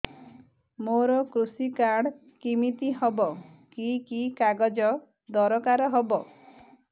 ମୋର କୃଷି କାର୍ଡ କିମିତି ହବ କି କି କାଗଜ ଦରକାର ହବ